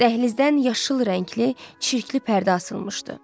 Dəhlizdən yaşıl rəngli, çirkli pərdə asılmışdı.